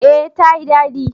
Eh ta yi dadi